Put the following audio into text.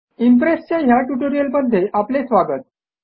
इम्प्रेसच्या ह्या ट्युटोरियलमध्ये आपले स्वागत